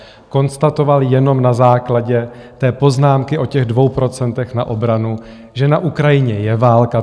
Konstatoval jenom na základě té poznámky o těch dvou procentech na obranu, že na Ukrajině je válka.